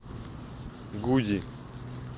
гуди